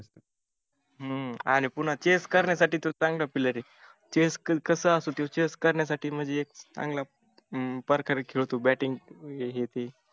हम्म आणि पुन्हा chess करण्यासाठी तर चांगला player आहे. chess कस असो त्यो chess करण्यासाठी एक चांगला हम्म प्रकारे खेळतो batting हे ते.